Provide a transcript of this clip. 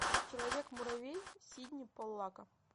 человек муравей сидни поллака